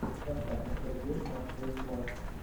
поставь интервью москвы флас